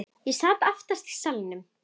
Ég sat aftast í salnum.